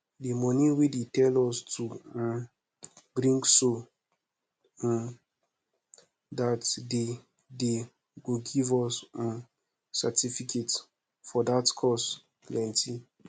the money wey dey tell us to um bring so um dat dey dey go give us um certificate for dat course plenty